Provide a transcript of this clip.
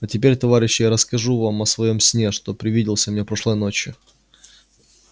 а теперь товарищи я расскажу вам о своём сне что привиделся мне прошлой ночью